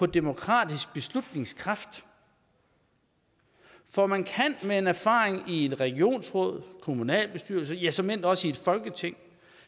demokratisk beslutningskraft for man kan med en erfaring i et regionsråd en kommunalbestyrelse ja såmænd også i et folketing